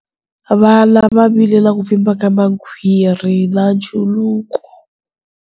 Vana va vile na ku pfimba ka makhwiri na nchuluko.